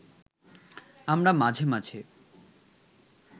আমরা মাঝে মাঝে